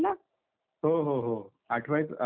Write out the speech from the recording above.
हो हो हो आठवायच, आठवतं ना मला.